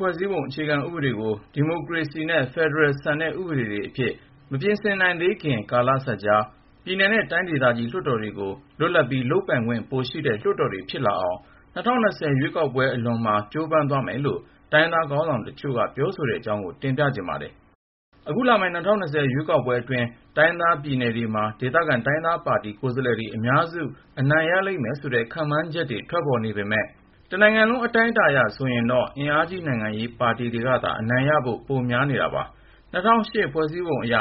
ဖွဲ့စည်းပုံအခြေခံဥပဒေကို ဒီမိုကရေစီနဲ့ ဖက်ဒရယ်ဆန်တဲ့ ဥပဒေအဖြစ် မပြင်ဆင်နိုင်သေးခင် ကာလစပ်ကြား ပြည်နယ်နဲ့ တိုင်းဒေသကြီးလွှတ်တော်တွေကို လွတ်လပ်ပြီး လုပ်ပိုင်ခွင့်ပိုရှိတဲ့ လွှတ်တော်တွေဖြစ်လာအောင် ၂၀၂၀ ရွေးကောက်ပွဲအလွန်မှာ ကြိုးပမ်းသွားမယ်လို့ တိုင်းရင်းသားခေါင်းဆောင်တချို့က ပြောဆိုတဲ့အကြောင်း ကိုဉာဏ်ဝင်းအောင်က တင်ပြထားပါတယ်။ အခုလာမယ့် ၂၀၂၀ ရွေးကောက်ပွဲအတွင်း တိုင်းရင်းသား ပြည်နယ်တွေမှာ ဒေသခံတိုင်းရင်းသားပါတီ ကိုယ်စားလှယ်တွေက အများစု အနိုင်ရလိမ့်မယ်ဆိုတဲ့ ခန့်မှန်ချက် ထွက်ပေါ်နေပေမယ့် တနိုင်ငံလုံး အတိုင်းအတာအရ ဆိုရင်တော့ အင်အားကြီး နိုင်ငံရေးပါတီတွေကသာ အနိုင်ရဖို့ ပိုများနေတာပါ။ ၂၀၀၈ ဖွဲ့စည်းပုံအရ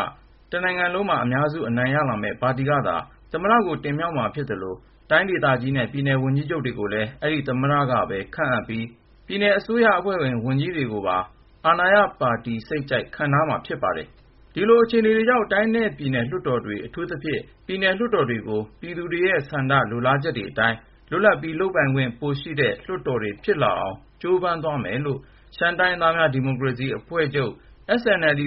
တနိုင်ငံလုံးမှာ အများစုအနိုင်ရလာမယ့် ပါတီကသာ သမ္မတကို တင်မြှောက်မှာဖြစ်သလို၊ တိုင်းဒေသကြီးနဲ့ ပြည်နယ် ဝန်ကြီးချုပ်တွေကိုလည်း အဲဒီသမ္မတကပဲ ခန့်အပ်မှာဖြစ်ပြီး ပြည်နယ်အစိုးရအဖွဲ့ဝင် ဝန်ကြီးတွေကိုပါ အာဏာရပါတီ စိတ်ကြိုက် ခန့်ထားမှာ ဖြစ်ပါတယ်။ ဒီလိုအခြေအနေတွေကြောင့် တိုင်းနဲ့ ပြည်နယ်လွှတ်တော်တွေ အထူးသဖြင့် ပြည်နယ် လွှတ်တော်တွေကို ပြည်သူလူထုရဲ့ဆန္ဒ ၊ လိုလားချက်တွေအတိုင်း လွတ်လပ်ပြီး လုပ်ပိုင်ခွင့်ပိုင်ရှိတဲ့ လွှတ်တော်တွေဖြစ်လာအောင် ကြိုးပမ်းသ ွားမယ်လို့ ရှမ်းတိုင်းရင်းသားများ ဒီမိုကရေစီအဖွဲ့ချုပ် SNLD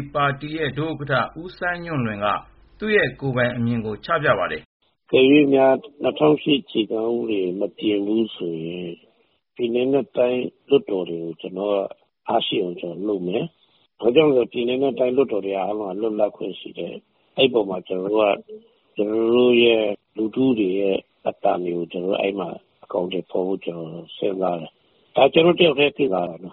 ဒုဥက္ကဌ ဦးစိုင်းညွန့်လွင်က သူ့ရဲ့ ကိုယ်ပိုင်အမြင်ကို ချပြပါတယ်။ “အကယ်ရွေ့များ ၂၀၀၈ အခြေခံဥပဒေကို မပြင်ဘူးဆိုရင် ပြည်နယ်နဲ့တိုင်း လွှတ်တော်တွေကို အားရှိအောင် ကျနော်တို့ လုပ်မယ်။ ဘာကြောင့်လည်းဆိုတော့ ပြည်နယ်နဲ့တိုင်း လွှတ်တော်တွေက အားလုံးက လွပ်လပ်ခွင့်ရှိတယ်။ အဲဒီပေါ်မှာ ကျနော်တို့ လူထုတွေရဲ့ အသံတွေကို အကောင်အထည်ဖေါ်ဖို့ စဉ်းစားတယ်။ ဒါ ကျနော့် တယောက်ထဲရဲ့စဉ်းစားချက်ပါ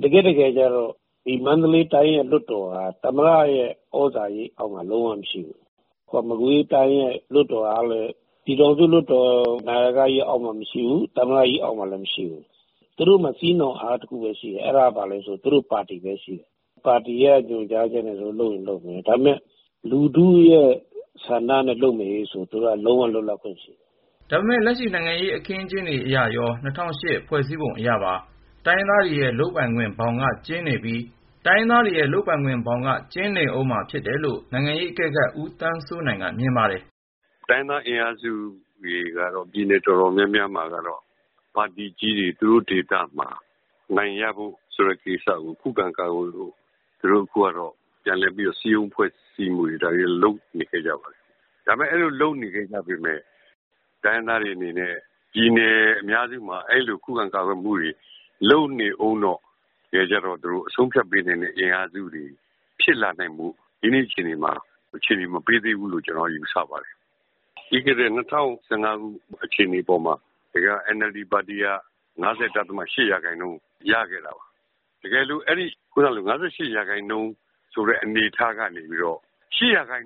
။ တကယ့်တကယ်ကျတော့ ဒီ မန္တလေးတိုင်း လွှတ်တော်က သမ္မတရဲ့ သြဇာရိပ်အောက်မှာ လုံးဝမရှိသလို၊ မကွေးတိုင်း လွှတ်တော်ကလည်း ပြည်ထောင်စုလွှတ်တော် နာယကကြီး အောက်မှာလည်း မရှိဘူး သမ္မတကြီး အောက်မှာလည်း မရှိဘူး။ သူတို့မှာ စည်းနှောင်အား တခုပဲရှိတယ် အဲဒါကဘာလဲဆိုရင် သူတို့ပါတီပဲ။ ပါတီက ညွှန်ချက်ချက်အရ သူတို့ လုပ်ရင်လုပ်မယ် ဒါပေမဲ့ လူထုရဲ့ဆန္ဒနဲ့ လုပ်မယ်ဟေ့ဆိုရင် သူတို့မှာ လုံးဝ လွတ်လပ်ခွင့်ရှိတယ်။” ဒါပေမဲ့ လက်ရှိ နိုင်ငံရေးအခင်းအကျင်းအရရော ၂၀၀၈ ဖွဲ့စည်းပုံအရပါ တိုင်ရင်းသားတွေရဲ့ လုပ်ပိုင်ခွင့်ဘောင်က ကျဉ်းနေဦးမှာပါပဲလို့ နိုင်ငံရေးအကဲခတ် ဦးသန်းစိုးနိုင်က မြင်ပါတယ်။ “ တိုင်းရင်းသား အင်အားစုတွေကတော့ ပြည်နယ် တော်တော်များများမှာ ပါတီကြီးတွေ သူတို့ဒေသမှာ အနိုင်ရသွားမှာကို ခုခံကာကွယ်နိုင်ဖို့အတွက် တိုင်းရင်းသားပါတီ အင်အားစုတွေက ပြန်လည်စည်းရုံး ဖွဲ့စည်းမှုတွေ လုပ်လာကြပါတယ်။ ဒါပေမဲ့ တိုင်းရင်းသားတွေ အနေနဲ့ ပြည်နယ်အများစုမှာ အဲဒီလို ခုခံကာကွယ်မှုတွေ လုပ်နေဦးတော့ တကယ်တမ်းကျတော့ သူတို့က အဆုံးအဖြတ်ပေးနိုင်တဲ့ အင်အားစုတွေ ဖြစ်လာနိုင်ဖို့ဆိုတာ ဒီကနေ့ထိ အခြေအနေ မပေးသေးဘူးလို့ ကျနော်ယူဆပါတယ်။ ပြီးခဲ့တဲ့ ၂၀၁၅ ရွေးကောက်ပွဲမှာ NLD ပါတီက ၅၈% ရခဲ့တာပါ။ အဲဒီ ၅၈% ထဲကနေပြီးတော့ ၈% လောက် အနိုင်ရတဲ့အနေအထား ဖြစ်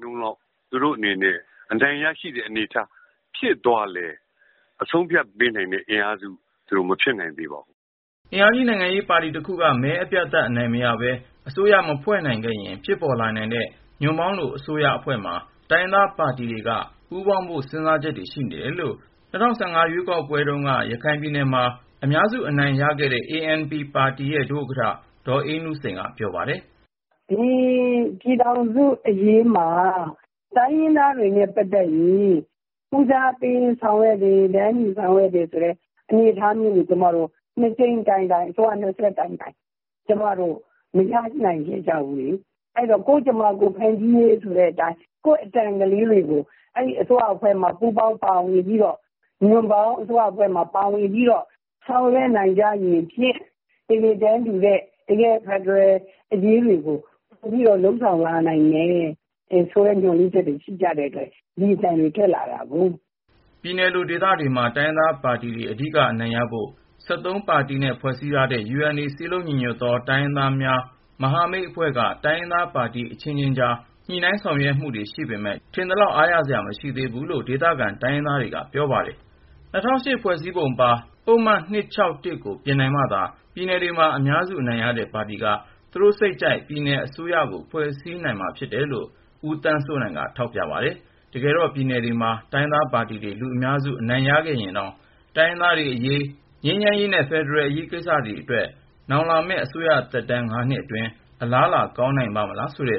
သွားလည်း ၊ အဆုံးအဖြတ်ပေးနိုင်တဲ့ အင်အားစုတော့ သူတို့ မဖြစ်နိုင်သေးပါဘူး။” အင်အားကြီး နိုင်ငံရေးပါတီတခုက မဲအပြတ်အသတ် အနိုင်မရပဲ၊ အစိုးရ မဖွဲ့နိုင်ခဲ့ရင် ဖြစ်ပေါ်လာနိုင်တဲ့ ညွန့်ပေါင်းလို အစိုးရအဖွဲ့မှာ တိုင်းရင်းသားပါတီတွေက ပူးပေါင်းဖို့ စဉ်းစားချက်တွေ ရှိနေတယ်လို့ ၂၀၁၅ ရွေးကောက်ပွဲတုန်းက ရခိုင်ပြည်နယ်မှာ အများစု အနိုင်ရခဲ့တဲ့ ရခိုင်အမျိုးသားပါတီ ANP ရဲ့ ဒုဥက္ကဌ ဒေါ်အေးနုစိန်က ပြောပါတယ်။ “ဒီ ပြည်ထောင်စု အရေးမှာ တိုင်းရင်းသားတွေနဲ့ ပတ်သက်ရင် ဦးစားပေးဆောင်ရွက်တယ် တန်းတူဆောင်ရွက်တယ်ဆိုတဲ့ အနေအထားမျိုးကို အစိုးရနှစ်ဆက်မှာ နှစ်ကြိမ်တိုင်တိုင် ကျမတို့ မရနိုင်ခဲ့ကြဘူးလေ။ အဲဒီတော့ ကိုယ့်ကြမ္မာ ကိုယ်ဖန်တီးရေး ဆိုတဲ့အတိုင်း ဖြစ်ပေါ်လာနိုင်တဲ့ ညွန့်ပေါင်းလိုအစိုးရအဖွဲ့ထဲမှာ ပါဝင်ပြီး ဆောင်ရွက် နိုင်ကြရင်ဖြင့် ကိုယ့်အသံတွေလည်းပါမယ်၊ တန်းတူစွာနဲ့ တကယ့် ဖက်ဒရယ် အရေးတွေကို ပိုပြီး လုပ်ဆောင်လာနိုင်မယ် ဆိုတဲ့ မျှော်လင့်ချက်တွေ ရှိကြတယ်” ပြည်နယ်လိုဒေသတွေမှာ တိုင်ရင်းသားပါတီတွေ အဓိကအနိုင်ရဖို့အတွက် ပါတီနဲ့ ဖွဲ့စည်းထားတဲ့ UNA ခေါ် စည်းလုံးညီညွတ်သော တိုင်းရင်းသားလူမျိုးများ မဟာမိတ်အဖွဲ့က တိုင်းရင်းသားပါတီ အချင်းချင်းကြား ညှိနှိုင်းဆောင်ရွက်နေပေမယ့် ထင်သလောက် အားရစရာ မရှိသေးဘူးဆိုပြီး ဒေသခံ တိုင်းရင်းသားတွေက ပြောပါတယ်။ ၂၀၀၈ ဖွဲ့စည်းပုံပါ ပုဒ်မ ၂၆၁ ကို ပြင်နိုင်မှသာ ပြည်နယ်တွေမှာ အများစုအနိုင်ရတဲ့ တိုင်းရင်းသားပါတီက သူတို့စိတ်ကြိုက် ပြည်နယ်အစိုးရကို ဖွဲ့စည်းခွင့် ရနိုင်မှာဖြစ်တယ်လို့ ဦးသန်းစိုးနိုင်က ထောက်ပြပါတယ်။ တကယ်တော့ အခုလာမယ့် ရွေးကောက်ပွဲအတွင်း ပြည်နယ်တွေမှာ တိုင်းရင်းသားပါတီတွေ လူများစုအနိုင်ရခဲ့ရင်တောင် တိုင်းရင်းသားတွေအရေး ငြိမ်းချမ်းရေးနဲ့ ဖက်ဒရယ်လို အရေးကိစ္စတေ ွအတွက် နောက်လာမယ့် အစိုးရသက်တမ်း ၅ နှစ်အတွင်း အလားအလာ ကောင်းနိုင်ပါ့မလားဆိုတ